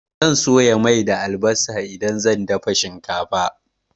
Zan soya mai da albasa idan zan dafa shinkafa.